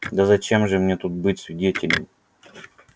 да зачем же мне тут быть свидетелем